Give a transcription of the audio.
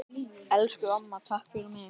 Elsku amma, takk fyrir mig.